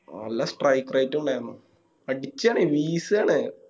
നല്ല Strike rate ഇണ്ടയിന്നു അടിച്ച് കളയും വീശല്ലേ